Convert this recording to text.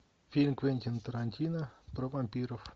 фильм квентина тарантино про вампиров